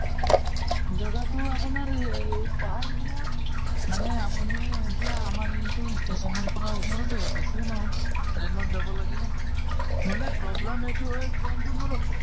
জগাটো আপোনাৰ পাহাৰ area মানে আপুনি এতিয়া আমাৰ ইটো station ৰ পৰা ওচৰতে হয়, বেছিও নহয়। ৰেলত যাব লাগে। নহʼলে problem এইটো হয় train টো নৰখে